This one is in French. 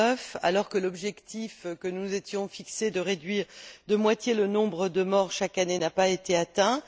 2009. L'objectif que nous nous étions fixé de réduire de moitié le nombre de morts chaque année n'a pas été atteint.